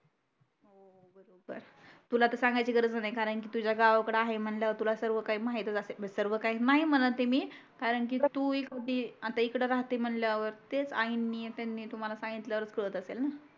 तुला त सांगाची गरज नाही कारण की तुझ्या गावाकडे आहे म्हटल्यावर तुला सर्व काही माहीतच असेल सर्व काही नाही म्हणत आहे मी कारण की तू एक होती आता इकड राहते म्हटल्यावर तेच आईंनी त्यांनी तुम्हाला सांगितल्यावर कडत असेल न